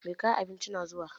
Mai kawo abincin na zuwa